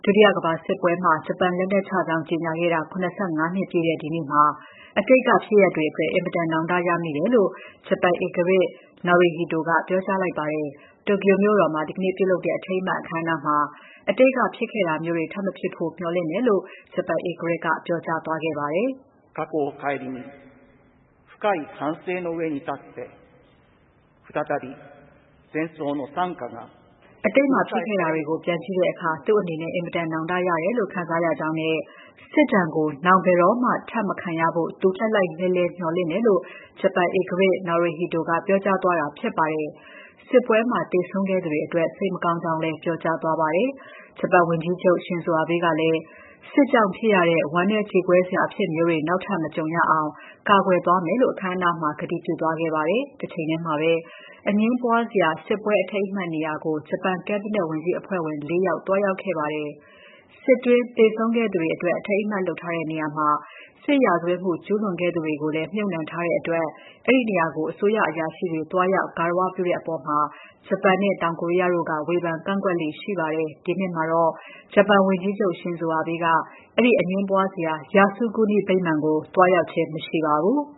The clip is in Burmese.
ုတိယကမ္ဘာစစ်ပွဲမှာ ဂျပန်လက်နက်ချကြောင်း ကြေညာခဲ့တာ ၇၅ နှစ်ပြည့်တဲ့ ဒီနေ့မှာ အတိတ်က ဖြစ်ရပ်တွေအတွက် အင်မတန် နောင်တရမိတယ်လို့ ဂျပန်ဧကရာဇ် Naruhito က ပြောကြားလိုက်ပါတယ်။ တိုကျိုမြို့တော်မှာ ဒီနေ့ပြုလုပ်တဲ့ အထိမ်းအမှတ် အခမ်းအနားမှာ အတိတ်က ဖြစ်ခဲ့တာမျိုးတွေ ထပ်မဖြစ်ဖို့ မျှော်လင့်တယ်လို့ ဧကရာဇ် Naruhito က ပြောသွားပါတယ်။ အတိတ်က ဖြစ်ခဲ့တာတွေကို ပြန်ကြည့်တဲ့အခါ သူ့အနေနဲ့ အင်မတန် နောင်တရတယ်လို့ ခံစားရကြောင်းနဲ့ စစ်ဒဏ်ကို နောင် ဘယ်တော့မှ ထပ်မခံရဖို့ သူ လှိုက်လှိုက်လှဲလှဲ မျှော်လင့်တယ်လို့ ဂျပန်ဧကရာဇ် Naruhito က ပြောကြားသွားတာ ဖြစ်ပါတယ်။ စစ်ပွဲမှာ သေဆုံးခဲ့သူတွေအတွက် စိတ်မကောင်းကြောင်းလည်း ပြောကြားသွားပါတယ်။ ဂျပန်ဝန်ကြီးချုပ် Shinzo Abe ကလည်း စစ်ကြောင့်ဖြစ်ရတဲ့ ဝမ်းနည်း ကြေကွဲစရာ အဖြစ်မျိုးတွေ နောက်ထပ် မကြုံရအောင် ကာကွယ်သွားမယ်လို့ အခမ်းအနားမှာ ကတိပြုသွားခဲ့ပါတယ်။ တချိန်တည်းမှာပဲ အငြင်းပွားစရာ စစ်ပွဲအထိမ်းအမှတ်နေရာကို ဂျပန် ကက်ဘိနက် ဝန်ကြီးအဖွဲ့ဝင် ၄ ယောက် သွားရောက်ခဲ့ပါတယ်။ စစ်အတွင်း သေဆုံးခဲ့သူတွေအတွက် အထိမ်းအမှတ်လုပ်ထားတဲ့ နေရာမှာ စစ်ရာဇဝတ်မှု ကျူုးလွန်ခဲ့သူတွေကိုလည်း မြှုပ်နှံထားတဲ့အတွက် အဲဒီနေရာကို အစိုးရအရာရှိတွေ သွားရောက် ဂါရဝပြုတဲ့အပေါ် တရုတ်နဲ့ တောင်ကိုရီးယားတို့က ဝေဖန်ကန့်ကွက်လေ့ ရှိပါတယ်။ ဒီနှစ်မှာတော့ ဂျပန်ဝန်ကြီးချုပ် Shinzo Abe က အဲဒီ အငြင်းပွားစရာ Yasukuni ဗိမာန်ကို သွားရောက်ခြင်း မရှိပါဘူး